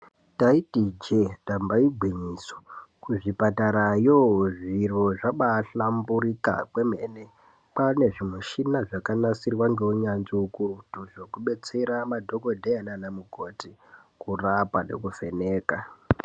Taiti ijee ndamba igwinyiso, kuzvipatarayo zviro zvabaahlamburuka kwemene kwaane zvimichina zvakanasirwa ngeunyanzvi ukurutu zvekudetsera madhokodheya nana mukoti kurapa nekuvheneka.